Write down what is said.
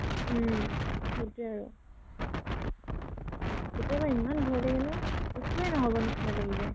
অ, সিটোয়ে আৰু। কেতিয়াবা ইমান ভয় আগে ন? একোয়ে নহব নিছিনা লাহি যায়।